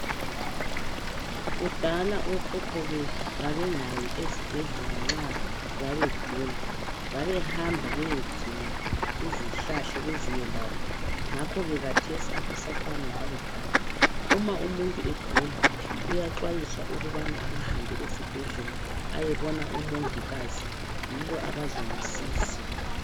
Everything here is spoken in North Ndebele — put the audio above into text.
Kudala okhokho bethu babengayi esibhedlela nxa babegula. Babehamba beyedinga izihlahla beziyelaphe ngakho ke khathesi akusafani lakudala, uma umuntu egula uyaxwayiswa ukubana akahambe esibhedlela ayebona umongikazi yibo abazomsiza.